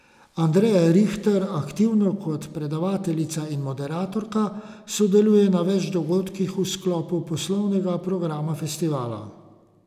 Andreja Rihter aktivno, kot predavateljica in moderatorka, sodeluje na več dogodkih v sklopu poslovnega programa festivala.